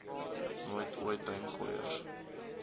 nooit ooit duimgooiers